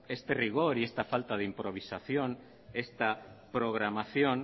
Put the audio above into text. este rigor y esta falta de improvisación esta programación